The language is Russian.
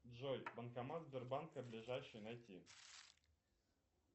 джой банкомат сбербанка ближайший найти